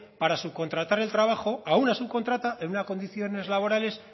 para subcontratar el trabajo a una subcontrata en unas condiciones laborales